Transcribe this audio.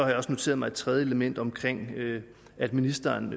jeg også noteret mig et tredje element om at ministeren